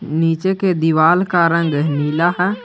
नीचे के दीवाल का रंग नीला है।